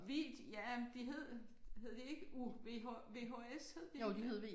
Vi ja men de hed hed de ikke U V H VHS hed de ikke det?